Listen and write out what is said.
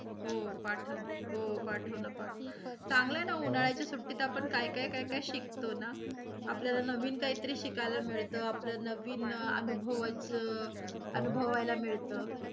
हो पाठव. हो पाठव न पाठव चांगल आहे न, उन्हाळ्याच्या सुट्टीत आपण काय-काय, काय-काय शिकतो न. आपल्याला नवीन काही तरी शिकायला मिळत आपल्या नवीन अनुभवाचं अनुभवायला मिळतं.